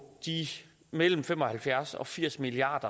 de mellem fem og halvfjerds og firs milliard